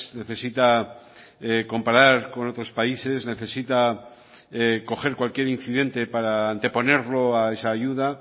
necesita comparar con otros países necesita coger cualquier incidente para anteponerlo a esa ayuda